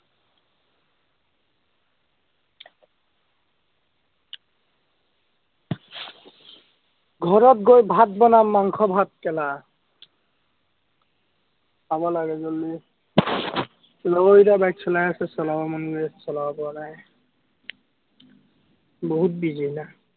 ঘৰত গৈ ভাত বনাম, মাংস-ভাত খাব লাগে জলদি লগৰ কেইটাই bike চলাই আছে, চলাবৰ মন গৈ আছে, চলাব পৰা নাই। বহুত busy না